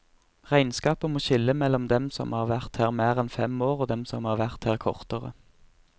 Regnskapet må skille mellom dem som har vært her mer enn fem år og dem som har vært her kortere.